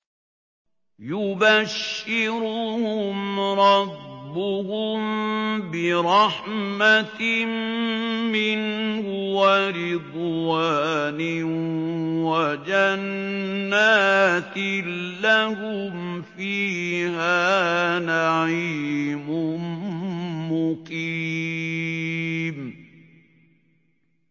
يُبَشِّرُهُمْ رَبُّهُم بِرَحْمَةٍ مِّنْهُ وَرِضْوَانٍ وَجَنَّاتٍ لَّهُمْ فِيهَا نَعِيمٌ مُّقِيمٌ